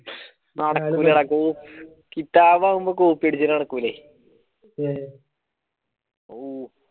നടക്കൂല്ലടാ കിതാബ് ആകുമ്പോ copy അടിച്ചാല് നടകുലേ